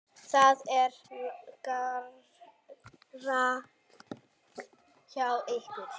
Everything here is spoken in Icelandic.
Það er rangt hjá ykkur.